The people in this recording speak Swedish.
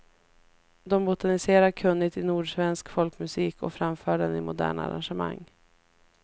De botaniserar kunnigt i nordsvensk folkmusik och framför den i moderna arrangemang.